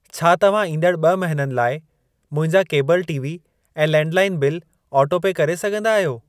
छा तव्हां ईंदड़ ॿ महिननि लाइ मुंहिंजा केबल टीवी ऐं लैंडलाइन बिल ऑटो पे करे सघंदा आहियो?